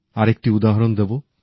আরেকটি উদাহরণ দেবো